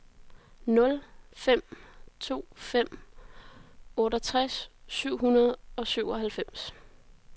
nul fem to fem otteogtres syv hundrede og syvoghalvfems